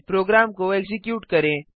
programme को execute करें